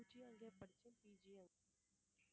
UG யும் அங்கயே படிச்சேன் PG யும்